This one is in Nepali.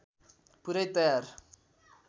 पुरै तयार